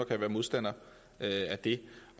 kan være modstander af det